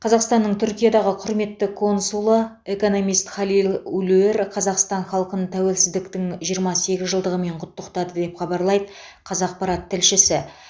қазақстанның түркиядағы құрметті консулы экономист халил улуер қазақстан халқын тәуелсіздіктің жиырма сегіз жылдығымен құттықтады деп хабарлайды қазақпарат тілшісі